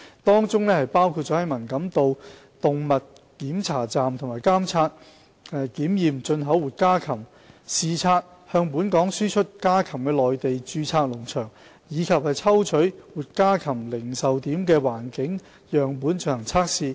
當中包括在文錦渡動物檢查站監察及檢驗進口活家禽；視察向本港輸出家禽的內地註冊農場；以及抽取活家禽零售點的環境樣本進行測試。